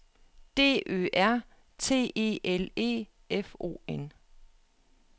D Ø R T E L E F O N